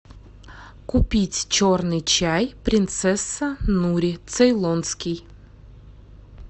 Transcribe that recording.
купить черный чай принцесса нури цейлонский